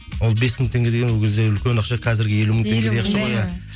ол бес мың теңге деген ол кезде үлкен ақша қазіргі елу мың теңгедей